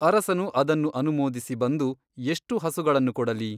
ಅರಸನು ಅದನ್ನು ಅನುಮೋದಿಸಿ ಬಂದು ಎಷ್ಟು ಹಸುಗಳನ್ನು ಕೊಡಲಿ ?